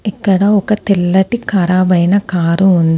ఇక్కడ ఒక తెల్లటి ఖరాబ్ అయిన కారు ఉంది.